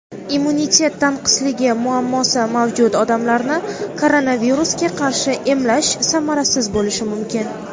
Immunitet tanqisligi muammosi mavjud odamlarni koronavirusga qarshi emlash samarasiz bo‘lishi mumkin.